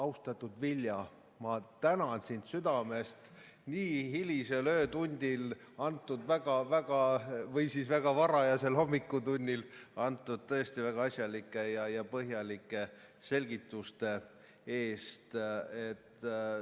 Austatud Vilja, ma tänan sind südamest nii hilisel öötunnil, või väga varajasel hommikutunnil antud väga-väga, tõesti väga asjalike ja põhjalike selgituste eest!